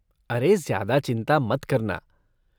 अरे, ज्यादा चिंता मत करना।